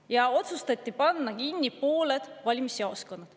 Nii otsustati panna kinni pooled valimisjaoskonnad.